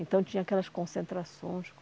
Então, tinha aquelas concentrações.